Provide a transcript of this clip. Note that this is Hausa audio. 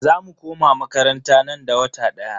Za mu koma makaranta nan da wata daya.